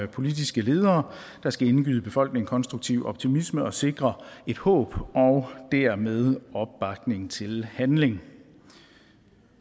politiske ledere der skal indgyde befolkningen konstruktiv optimisme og sikre et håb og dermed opbakning til handling